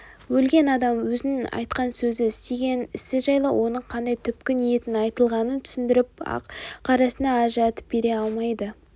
өлген адам өзінің айтқан сөзі істеген ісі жайлы оның қандай түпкі ниетпен айтылғанын түсіндіріп ақ-қарасын ажыратып бере алмайды